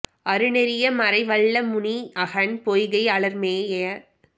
அரு நெறிய மறை வல்ல முனி அகன் பொய்கை அலர் மேய